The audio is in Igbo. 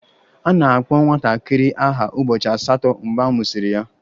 A na-akpọ nwatakịrị aha ụbọchị asatọ mgbe a mụsịrị ya